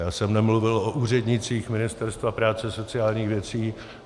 Já jsem nemluvil o úřednících Ministerstva práce a sociálních věcí.